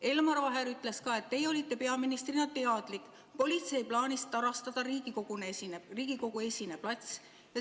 Elmar Vaher ütles ka, et teie olite peaministrina teadlik politsei plaanist tarastada Riigikogu-esine plats.